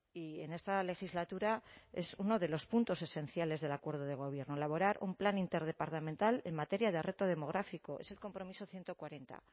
y en esta legislatura es uno de los puntos esenciales del acuerdo de gobierno elaborar un plan interdepartamental en materia de reto demográfico es el compromiso ciento cuarenta